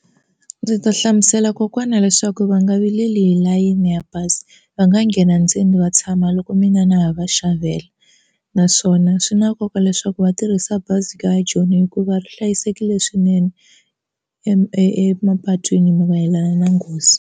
Ndzi ta hlamusela kokwana leswaku va nga vileli hi layeni ya bazi va nga nghena ndzeni va tshama loko mina na ha va xavela naswona swi na nkoka leswaku va tirhisa bazi ra joni hikuva ri hlayisekile swinene emapatwini mayelana na nghozi.